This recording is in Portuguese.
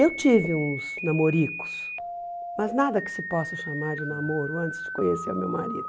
Eu tive uns namoricos, mas nada que se possa chamar de namoro antes de conhecer o meu marido.